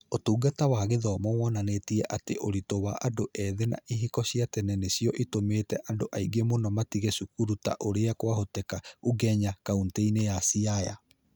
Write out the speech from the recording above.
Ũtungata wa Gĩthomo wonanĩtie atĩ ũritũ wa andũ ethĩ na ihiko cia tene nĩcio itũmĩte andũ aingĩ mũno matige cukuru ta ũrĩa kwahoteka ũgenya, kaunti-inĩ ya Siaya.